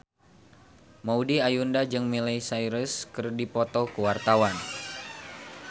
Maudy Ayunda jeung Miley Cyrus keur dipoto ku wartawan